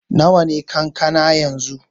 Nawa ne kankana yanzu?